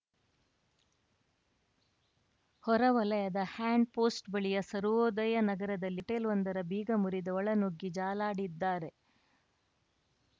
ಹೊರವಲಯದ ಹ್ಯಾಂಡ್‌ಪೋಸ್ಟ್‌ ಬಳಿಯ ಸರ್ವೋದಯ ನಗರದಲ್ಲಿ ಹೋಟೆಲ್‌ವೊಂದರ ಬೀಗ ಮುರಿದು ಒಳನುಗ್ಗಿ ಜಾಲಾಡಿದ್ದಾರೆ